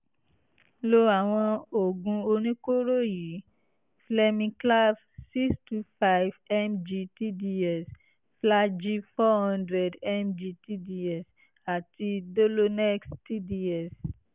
lo àwọn oògùn oníkóró yìí: flemiclav six two five M-G T-D-S flagyl four hundred M-G T-D-S àti dolonex T-D-S